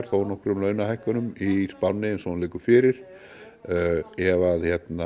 þónokkrum launahækkunum í spánni eins og hún liggur fyrir ef